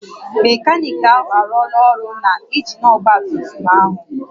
Mekaniki ahụ arụọla ọrụ na injin ọgba tum tum ahụ